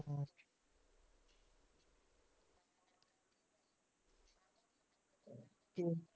ਅਤੇ